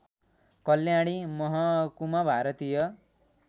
कल्याणी महकुमा भारतीय